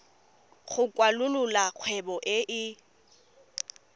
go kwalolola kgwebo e e